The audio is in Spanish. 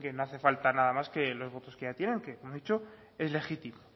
creen que no hace falta nada más que los votos que ya tienen que como he dicho es legítimo